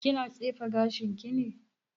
Kina tsefe gashin ki ne?